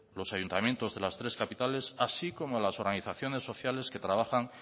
los ayuntamientos de las tres capitales así como a las organizaciones sociales que trabajan